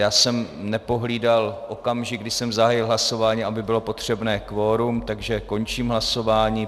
Já jsem nepohlídal okamžik, kdy jsem zahájil hlasování, aby bylo potřebné kvorum, takže končím hlasování.